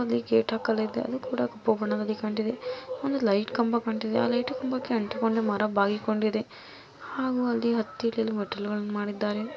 ಅಲ್ಲಿ ಗೇಟ್ ಆಕಲಾಗಿದೆ ಅದು ಕಪ್ಪು ಬಣ್ಣದಲ್ಲಿದೆ ಕಾಣ್ತಿದೆ ಒಂದು ಲೈಟ್ ಕಂಬ ಕಾಣ್ತಿದೆ ಆ ಲೈಟು ಕಂಬಕ್ಕೆ ಅಂಟಿಕೊಂಡು ಮರ ಬಾಗಿಕೊಂಡಿದೆ ಹಾಗು ಅಲ್ಲಿ ಹತ್ತಿ ಇಳಿಯಲು ಮೆಟ್ಟಿಲುಗಳನ್ನು ಮಾಡಿದ್ದಾರೆ.